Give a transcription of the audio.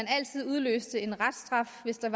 altid udløste en reststraf hvis der